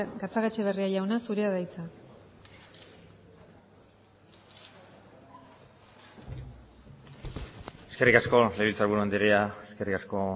gatzagaetxebarria jauna zurea da hitza eskerrik asko legebiltzar buru andrea eskerrik asko